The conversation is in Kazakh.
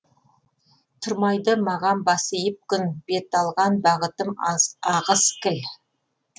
тұрмайды маған бас иіп күн бет алған бағытым ағыс кіл